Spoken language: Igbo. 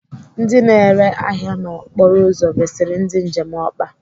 Ndị na-ere ahịa n'okporo ụzọ resiri ndị njem ọkpa.